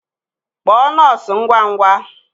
Kpọọ nọọsụ ngwa ngwa!